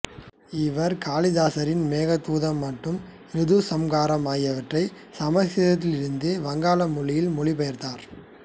இவர் காளிதாசரின் மேகதூதம் மற்றும் ரிதுசம்காரம் ஆகியவற்றை சமசுகிருதத்திலிருந்து வங்காள மொழியில் மொழிபெயர்த்தார்